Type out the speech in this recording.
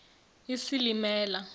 isilimela